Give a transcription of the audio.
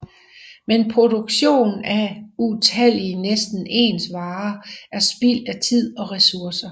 Men produktion af utallige næsten ens varer er spild af tid og resurser